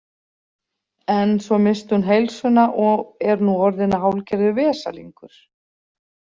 En svo missti hún heilsuna og er nú orðin hálfgerður vesalingur.